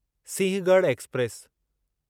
Sinhagad express